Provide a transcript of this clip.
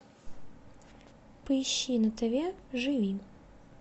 поищи на тв живи